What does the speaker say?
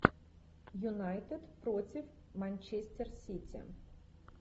юнайтед против манчестер сити